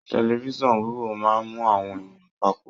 Telifisan wíwo máa mú àwọn èèyàn papọ.